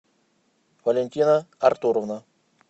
валентина артуровна